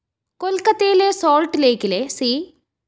കൊല്‍ക്കത്തയിലെ Salt ലെയ്ക്കിലെ C